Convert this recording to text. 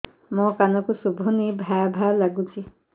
ମୋ କାନକୁ ଶୁଭୁନି ଭା ଭା ଲାଗୁଚି